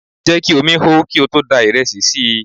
Jẹ́ kí omi hó kí o tó da ìrẹsì sí i!